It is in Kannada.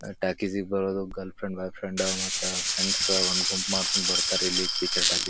ಟಾಲ್ಕಿಸ್ ಗೆ ಬರದು ಗರ್ಲ್ಫ್ರೆಂಡ್ ಬಾಯ್ಫ್ರೆಂಡ್ ಮತ್ತೆ ಫ್ರೆಂಡ್ಸ್ ಒಂದು ಗುಂಪು ಮಾಡ್ಕೊಂಡು ಬರ್ತಾರೆ ಇಲ್ಲಿ ಪಿಚ್ಚರ್ ಟಾಕೀಸ್ --